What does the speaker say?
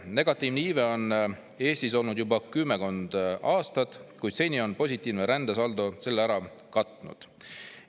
Negatiivne iive on Eestis olnud juba kümmekond aastat, kuid seni on positiivne rändesaldo selle ära katnud.